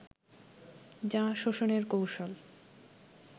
যা শোষণের কৌশল